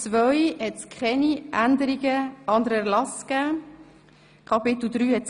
(Keine Änderungen anderer Erlasse) Angenommen III.